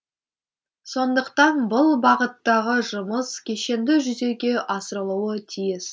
сондықтан бұл бағыттағы жұмыс кешенді жүзеге асырылуы тиіс